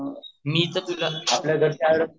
मी तर